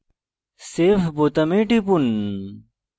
save বোতামে টিপুন